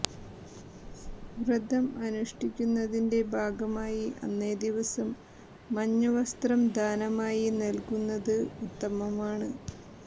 വ്രതം അനുഷ്ഠിക്കുന്നതിൻ്റെ ഭാഗമായി അന്നേ ദിവസം മഞ്ഞ വസ്ത്രം ദാനമായി നൽകുന്നത് ഉത്തമമാണ്